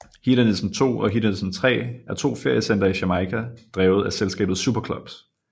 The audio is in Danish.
Hedonism II og Hedonism III er to feriecentre i Jamaica drevet af selskabet SuperClubs